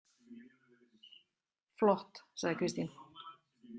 Flott, sagði Kristín.